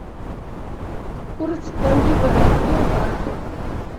курс боливара сбербанк